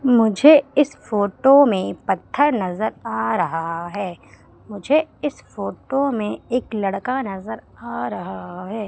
मुझे इस फोटो में पत्थर नजर आ रहा है मुझे इस फोटो में एक लड़का नजर आ रहा है।